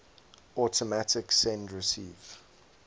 automatic send receive